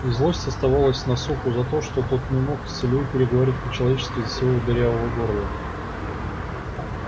и злость оставалась на суку за то что тот не смог с ильёй переговорить по-человечески из-за своего дырявого горла